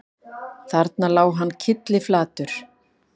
Þarna lá hann kylliflatur